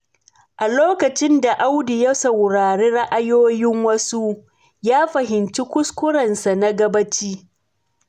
A lokacin da Audu ya saurari ra'ayoyin wasu, ya fahimci kuskurensa na gabaci.